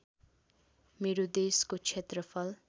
मेरो देशको क्षेत्रफल